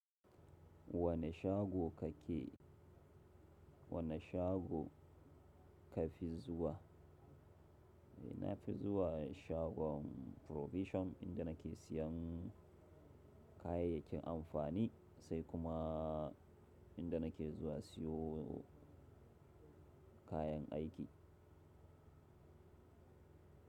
Wane shago ka ke, wane shago ka fi zuwa? Na fi zuwa shagon Provision inda na ke siyan kayayyakin amfani sai kuma inda na ke zuwa siyo kayan aiki.